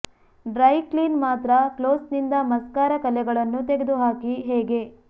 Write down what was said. dry clean ಮಾತ್ರ clothes ನಿಂದ mascara ಕಲೆಗಳನ್ನು ತೆಗೆದುಹಾಕಿ ಹೇಗೆ